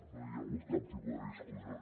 no hi ha hagut cap tipus de discussió